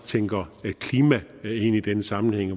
tænker klima ind i den sammenhæng